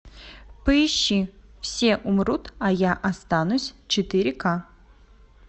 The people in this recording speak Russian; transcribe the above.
поищи все умрут а я останусь четыре ка